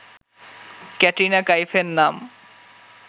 ক্যাটরিনা কাইফের নাম